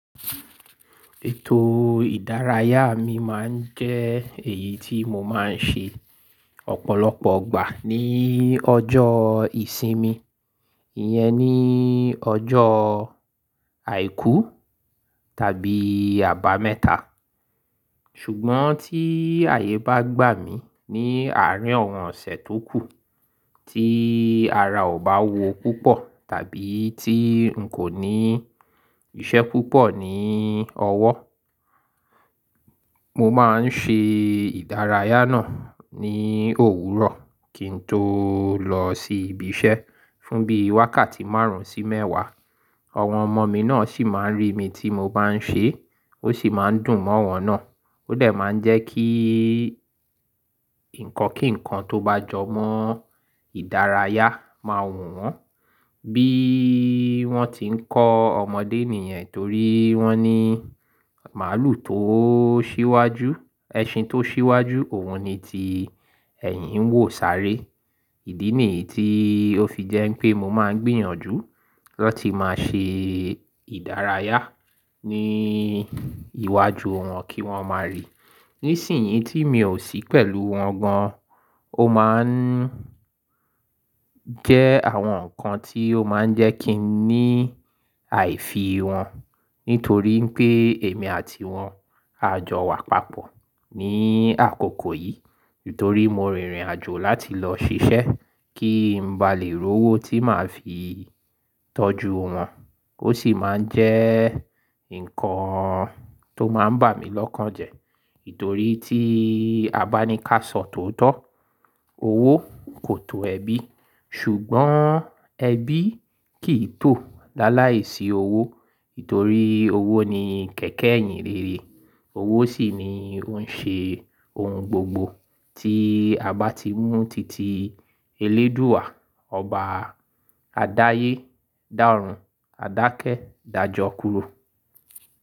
Ètò ìdárayá mi máa ń jẹ́ èyí tí mo máa ń ṣe ọ̀pọ̀lọpọ̀ ìgbà ní ọjọ́ ìsinmi, ìyẹn ní ọjọ́ àìkú tàbí àbámẹ́ta. Ṣùgbọ́n tí ààyè bá gbà mí ní àárín àwọ́n ọ̀sẹ̀ tó kù tí ara ò bá wúwo púpọ̀ tàbí tí n kò ní iṣẹ́ púpọ̀ ní ọwọ́, mo máa ń ṣe ìdárayá náà ní òwúrọ̀ kí n tó lọ sí ibi iṣẹ́ fún bí wákàtí márùn-ún sí mẹ́wàá. Àwọn ọmọ mi náà sì máa ń rí mi tí mo bá ń ṣe, ó sì máa ń dùn mọ́ wọn náà. Ó dẹ̀ máa ń jẹ́ kí nǹkan kí nǹkan tó bá jọmọ́ ìdárayá máa wù wọ́n bí wọ́n ti ń kọ́ ọmọdé nìyẹn torí wọ́n ní màlúù tó ṣíwájú, ẹṣin tó ṣíwájú òun ni ti ẹ̀yin ń wò sáré. Ìdí nìyí tí ó fi jẹ́ pé mo máa ń gbìyànjú láti máa ṣe ìdárayá ní iwájú wọn kí wọ́n máa rí. Nísìnyí tí mi ò sí pẹ̀lú wọn gan, ó máa ń jẹ́ àwọn nǹkan tí ó máa ń jẹ́ kí n ní àìfì wọn nítorí pé èmi àti wọn á jọ wà papọ̀ ní àkókò yìí. Nítorí mo rìnrìn àjò láti lọ ṣiṣẹ́ kí n ba lè rówó tí màá fi tọ́jú wọn. Ó sì máa ń jẹ́ nǹkan tó máa ń bà mí lọ́kàn jẹ. Nítorí tí a bá ni ká sọ tóótọ́, owó kò tò ẹbí ṣùgbọ́n ẹbí kì í tò láláìsí owó. Nítorí owó ni kẹ̀kẹ́ ìhìn rere. Owó sì ni ó ń ṣe ohun gbogbo tí a bá ti mú titi eléèdúà, ọba, adáyé, dàrun, àdákẹ́, dàjọ kúró.